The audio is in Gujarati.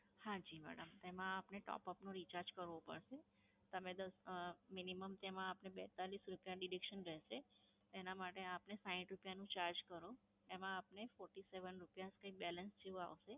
હા જી madam. એમાં આપને top up recharge કરવો પડશે. તમે દ~ minimum તેમાં આપડે બેત્તાલીસ રૂપયા deduction રહેશે. એના માટે આપને સાઈઠ રૂપયાનું charge કરો. એમાં આપને forty-seven રૂપયા balance જેવું આવશે